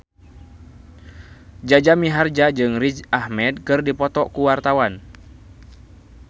Jaja Mihardja jeung Riz Ahmed keur dipoto ku wartawan